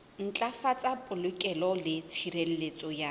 ntlafatsa polokeho le tshireletso ya